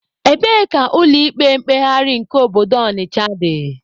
Ebee ka ụlọ ikpe mkpegharị nke obodo Ọnịcha dị?